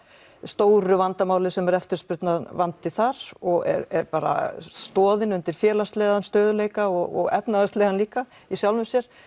stóru vandamáli sem er eftirspurnarvandi þar og er bara stoðin undir félagslegan stöðugleika og efnahagslegan líka í sjálfu sér